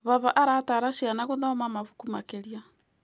Baba aratara ciana gũthoma mabuku makĩria.